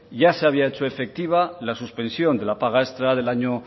ya se había hecho efectiva la suspensión de la paga extra del año